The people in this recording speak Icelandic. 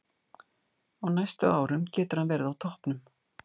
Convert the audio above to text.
Á næstu árum getur hann verið á toppnum.